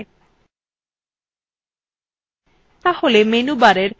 ওগুলি ওই একই প্রক্রিয়ায় করা যায়